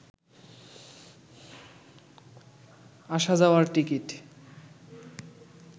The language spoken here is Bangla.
আসা যাওয়ার টিকিট